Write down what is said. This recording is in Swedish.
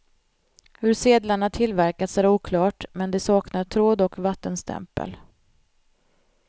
Hur sedlarna tillverkats är oklart, men de saknar tråd och vattenstämpel.